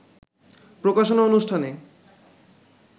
প্রকাশনা অনুষ্ঠানে